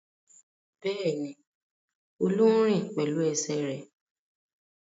Bẹ́ẹ̀ni, Olú ń rìn pẹ̀lú ẹsẹ̀ rẹ̀.